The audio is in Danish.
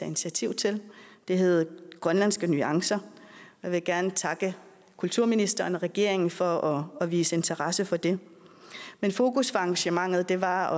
initiativ til det hedder grønlandske nuancer og jeg vil gerne takke kulturministeren og regeringen for at vise interesse for det fokus for arrangementet var